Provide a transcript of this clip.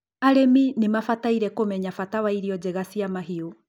arĩmi nimabataire kũmenya bata wa irio njega cia mahiū